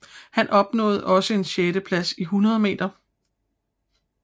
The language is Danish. Han opnåede også en sjetteplads i 100 meter